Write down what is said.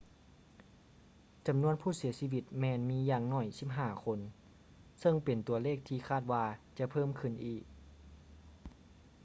ຈຳນວນຜູ້ເສຍຊີວິດແມ່ນມີຢ່າງໜ້ອຍ 15 ຄົນ ເຊິ່ງເປັນຕົວເລກທີ່ຄາດວ່າຈະເພີ່ມຂື້ນອີກ